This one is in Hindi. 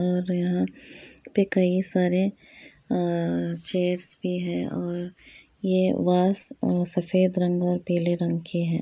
और यहाँ पे कई सारे अ अ चेयरस भी है और ये वास अ सफ़ेद रंग और पीले रंग की है।